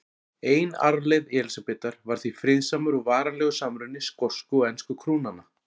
Ein arfleifð Elísabetar var því friðsamur og varanlegur samruni skosku og ensku krúnanna.